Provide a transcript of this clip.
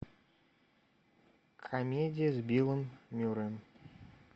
комедия с биллом мюрреем